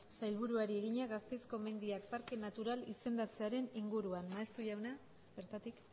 sailburuari egina gasteizko mendiak parke natural izendatzearen inguruan maeztu jauna bertatik